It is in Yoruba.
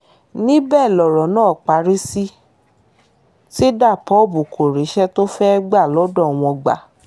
níbẹ̀ lọ̀rọ̀ náà parí sí ti dabop kò ríṣẹ́ tó fẹ́ẹ́ gbà lọ́dọ̀ wọn gbà